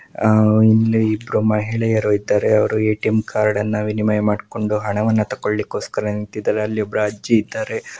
ಇಲ್ಲಿ ಇಬ್ಬರು ಮಹಿಳೆಯರು ಇದ್ದಾರೆ ಅವರು ಎ.ಟಿ.ಎಂ. ಕಾರ್ಡ್‌ನ್ನು ವಿನಿಮಯ ಮಾಡಿಕೊಂಡು ಹಣವನ್ನು ತಕೊಳ್ಳಿಕೋಸ್ಕರ ನಿಂತಿದ್ದಾರೆ. ಅಲ್ಲಿ ಒಬ್ಬ ಅಜ್ಜಿ ಇದ್ದಾರೆ.